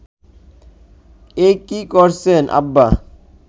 এ কী করছেন আব্বা